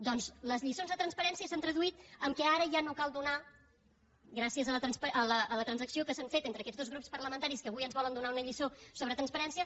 doncs les lliçons de transparència s’han traduït que ara ja no cal donar gràcies a la transacció que s’ha fet entre aquests dos grups parlamentaris que avui ens volen donar una lliçó sobre transparència